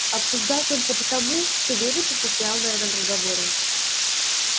обсуждал только потому что вересов настоял на этом разговоре